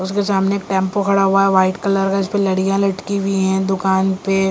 उसके सामने टेंपो खड़ा हुआ है वाइट कलर का इस पे लड़ियां लटकी हुई है दुकान पे--